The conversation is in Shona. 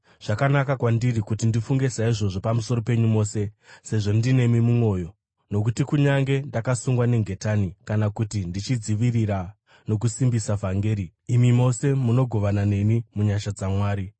Zvakanaka kwandiri kuti ndifunge saizvozvo pamusoro penyu mose, sezvo ndinemi mumwoyo; nokuti kunyange ndakasungwa nengetani kana kuti ndichidzivirira nokusimbisa vhangeri, imi mose munogovana neni munyasha dzaMwari.